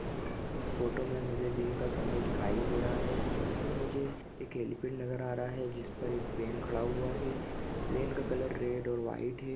इस फोटो मे मुजे दिन का समय दिखाई दे रहा है इसमे मुजे एक हीली पेड़ नजर आ रहा है जिसमे पर एक प्लेन खड़ा हुवा है प्लेन का कलर डेर और व्हाइट है ।